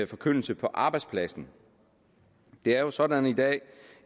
forkyndelse på arbejdspladsen det er jo sådan i dag